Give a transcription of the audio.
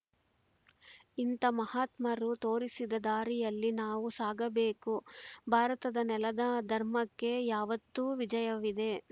ಇಂಥ ಮಹಾತ್ಮರು ತೋರಿಸಿದ ದಾರಿಯಲ್ಲಿ ನಾವು ಸಾಗಬೇಕು ಭಾರತದ ನೆಲದ ಧರ್ಮಕ್ಕೆ ಯಾವತ್ತೂ ವಿಜಯವಿದೆ